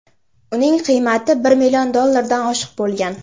Uning qiymati bir million dollardan oshiq bo‘lgan.